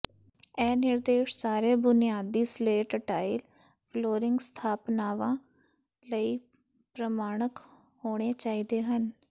ਇਹ ਨਿਰਦੇਸ਼ ਸਾਰੇ ਬੁਨਿਆਦੀ ਸਲੇਟ ਟਾਇਲ ਫਲੋਰਿੰਗ ਸਥਾਪਨਾਵਾਂ ਲਈ ਪ੍ਰਮਾਣਕ ਹੋਣੇ ਚਾਹੀਦੇ ਹਨ